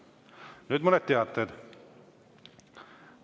Nüüd mõned teated.